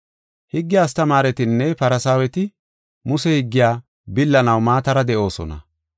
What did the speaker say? “Higge astamaaretinne Farsaaweti Muse higgiya billanaw maatara de7oosona.